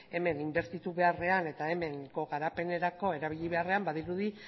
hemen inbertitu beharrean eta hemengo garapenerako erabili beharrean badirudi